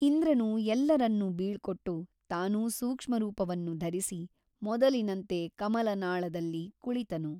ಇಂದ್ರನು ಎಲ್ಲರನ್ನೂ ಬೀಳ್ಕೊಟ್ಟು ತಾನು ಸೂಕ್ಷ್ಮರೂಪವನ್ನು ಧರಿಸಿ ಮೊದಲಿನಂತೆ ಕಮಲನಾಳದಲ್ಲಿ ಕುಳಿತನು.